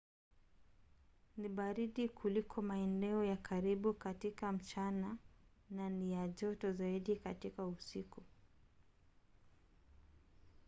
"ni baridi kuliko maeneo ya karibu katika mchana na ni ya joto zaidi katika usiku